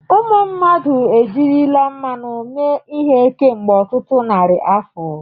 Ụmụ mmadụ ejirila mmanụ mee ihe kemgbe ọtụtụ narị afọ.